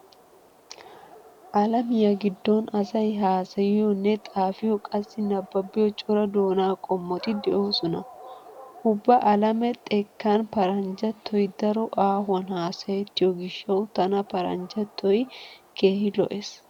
Alamiya giddon asay haasayiyonne xaafiyo qassi nabbabiyo cora doonaa qommoti de'oosona. Ubba alame xekkan paranjjattoy daro aahuwan haasayettiyo gishshawu tana paranjjattoy keehi lo'ees.